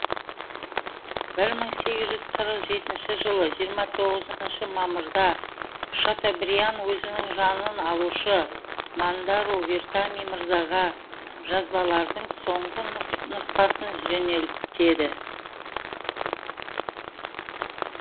бір мың сегіз жүз қырық жетінші жылы жиырма тоғызыншы мамырда шатобриан өзінің жанын алушы мандару вертами мырзаға жазбалардың соңғы нұсқасын жөнелтеді